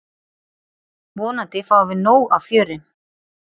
Vonandi fáum við nóg af fjöri.